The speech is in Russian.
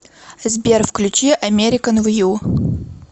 сбер включи американ вью